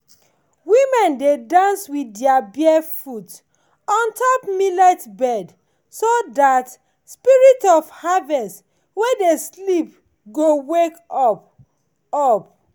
women dey dance with their barefeet on top millet bed so that spirit of harvest wey dey sleep go wake up. up.